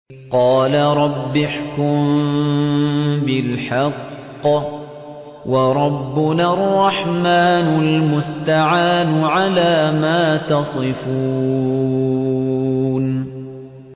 قَالَ رَبِّ احْكُم بِالْحَقِّ ۗ وَرَبُّنَا الرَّحْمَٰنُ الْمُسْتَعَانُ عَلَىٰ مَا تَصِفُونَ